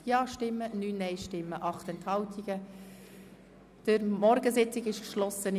Die Morgensitzung ist hiermit geschlossen.